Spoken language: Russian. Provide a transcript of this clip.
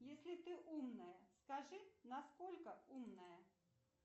если ты умная скажи насколько умная